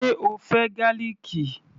Ṣe o fẹ́ gálìkì?